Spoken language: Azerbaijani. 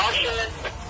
Xahiş edirəm.